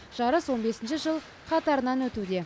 жарыс он бесінші жыл қатарынан өтуде